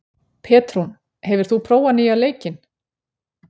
Petrún, hefur þú prófað nýja leikinn?